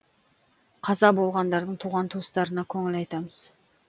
қаза болғандардың туған туыстарына көңіл айтамыз